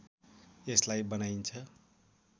यसलाई बनाइन्छ